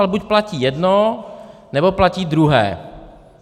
Ale buď platí jedno, nebo platí druhé.